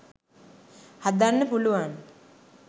හදන්න පුළුවන්.